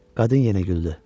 Qadın yenə güldü.